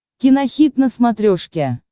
кинохит на смотрешке